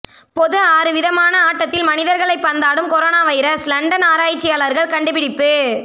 பொது ஆறு விதமான ஆட்டத்தில் மனிதர்களை பந்தாடும் கொரோனா வைரஸ் லண்டன் ஆராய்ச்சியாளர்கள் கண்டுபிடிப்பு